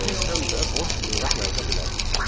Biz həm də boş lüğət yarada bilərik.